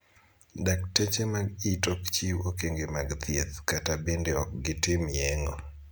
dakteche mag it ok chiw okenge mag thieth kata bende ok gitim yeng'o.